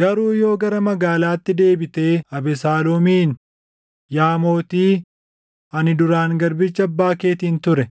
Garuu yoo gara magaalaatti deebitee Abesaaloomiin, ‘Yaa mootii, ani duraan garbicha abbaa keetiin ture;